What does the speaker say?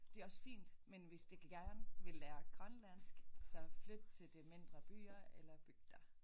Det også fint men hvis de gerne vil lære grønlandsk så flyt til de mindre byer eller bygder